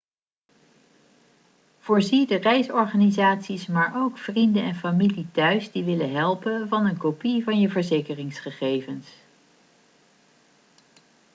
voorzie de reisorganisaties maar ook vrienden en familie thuis die willen helpen van een kopie van je verzekeringsgegevens